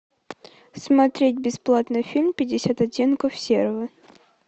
смотреть бесплатно фильм пятьдесят оттенков серого